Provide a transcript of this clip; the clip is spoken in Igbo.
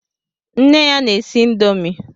Nne ya na-esi índomi.